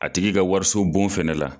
A tigi ka wariso bon fɛnɛ la